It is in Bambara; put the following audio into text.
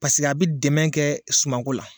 Paseke a bi dɛmɛ kɛ sumako la.